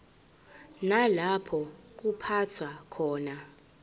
nalapho kuphathwa khona